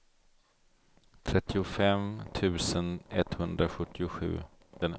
trettiofem tusen etthundrasjuttiosju